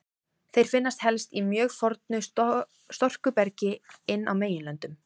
Þeir finnast helst í mjög fornu storkubergi inn á meginlöndum.